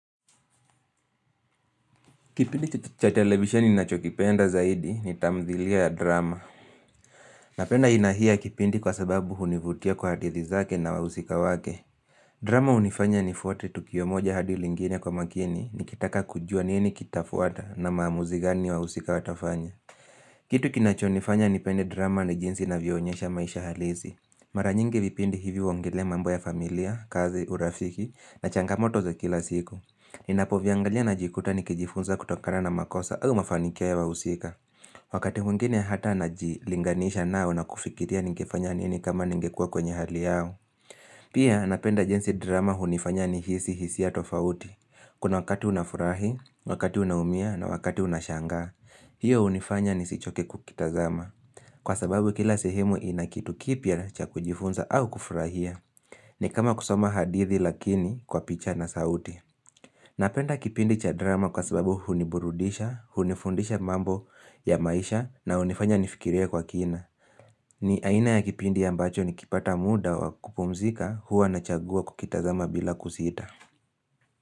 Kipindi cha televisheni ninachokipenda zaidi ni tamthilia ya drama Napenda aina hii ya kipindi kwa sababu hunivutia kwa hadithi zake na wahusika wake drama hunifanya nifuate tukio moja hadi lingine kwa makini Nikitaka kujua nini kitafuata na maamuzi gani wahusika watafanya Kitu kinachonifanya nipende drama ni jinsi inavyoonyesha maisha halisi Mara nyingi vipindi hivi huongelea mambo ya familia, kazi, urafiki na changamoto za kila siku Ninapoviangalia najikuta nikijifunza kutokana na makosa au mafanikio ya wahusika Wakati mwingine hata najilinganisha nao na kufikiria ningefanya nini kama ningekua kwenye hali yao Pia napenda jinsi drama hunifanya nihisi hisia tofauti Kuna wakati unafurahi, wakati unaumia na wakati unashangaa hiyo hunifanya nisichoke kukitazama Kwa sababu kila sehemu ina kitu kipya cha kujifunza au kufurahia ni kama kusoma hadithi lakini kwa picha na sauti Napenda kipindi cha drama kwa sababu huniburudisha, hunifundisha mambo ya maisha na hunifanya nifikirie kwa kina. Ni aina ya kipindi ambacho nikipata muda wa kupumzika huwa nachagua kukitazama bila kusita.